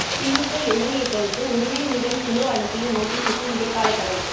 திமுக எம்எல்ஏக்களுக்கு உரிமை மீறல் குழு அனுப்பிய நோட்டீசுக்கு இடைக்காலத் தடை